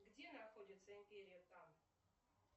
где находится империя тан